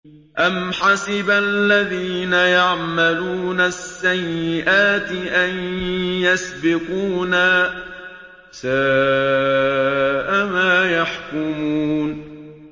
أَمْ حَسِبَ الَّذِينَ يَعْمَلُونَ السَّيِّئَاتِ أَن يَسْبِقُونَا ۚ سَاءَ مَا يَحْكُمُونَ